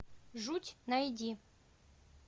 жуть найди